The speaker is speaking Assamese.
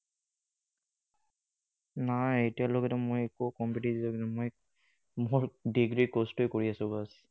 নাই এতিয়ালৈকেতো মই একো competitive exam মই মোৰ degree course তো এই কৰি আছো বচ।